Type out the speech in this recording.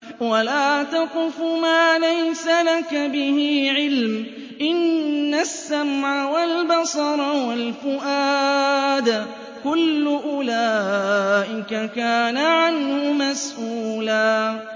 وَلَا تَقْفُ مَا لَيْسَ لَكَ بِهِ عِلْمٌ ۚ إِنَّ السَّمْعَ وَالْبَصَرَ وَالْفُؤَادَ كُلُّ أُولَٰئِكَ كَانَ عَنْهُ مَسْئُولًا